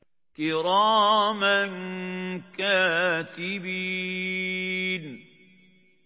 كِرَامًا كَاتِبِينَ